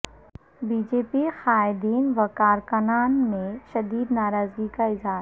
be J P قائدین وکارکنان میں شدید ناراضگی کااظہار